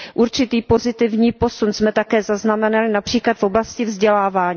Určitý pozitivní posun jsme také zaznamenali například v oblasti vzdělávání.